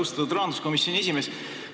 Austatud rahanduskomisjoni esimees!